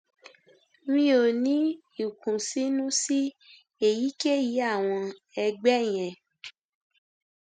mi ò ní ìkùnsínú sí èyíkéyìí àwọn ẹgbẹ yẹn